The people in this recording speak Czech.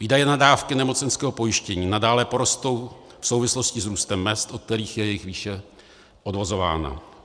Výdaje na dávky nemocenského pojištění nadále porostou v souvislosti s růstem mezd, od kterých je jejich výše odvozována.